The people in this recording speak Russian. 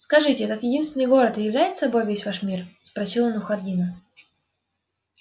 скажите этот единственный город и являет собой весь ваш мир спросил он у хардина